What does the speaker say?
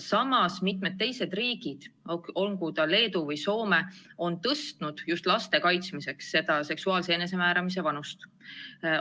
Samas, mitmed teised riigid, olgu ta Leedu või Soome, on just laste kaitsmiseks seksuaalse enesemääramise vanusepiiri tõstnud.